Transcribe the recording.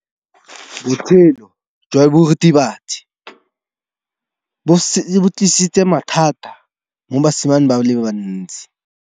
Botshelo jwa diritibatsi ke bo tlisitse mathata mo basimaneng ba bantsi.